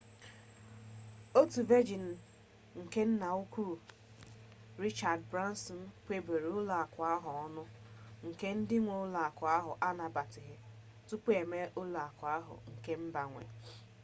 otu vejini nke nnaukwu richard branson kweburu ụlọakụ ahụ ọnụ nke ndị nwe ụlọakụ ahụ anabataghị tupu e mee ụlọakụ ahụ nke mba nwe